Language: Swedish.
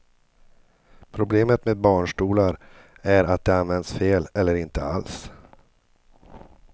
Problemet med barnstolar är att de används fel eller inte alls.